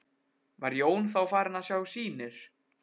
Var Jón þá farinn að sjá sýnir.